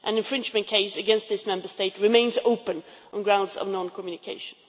An infringement case against this Member State remains open on grounds of non communication.